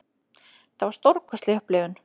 Þetta var stórkostlegt upplifun.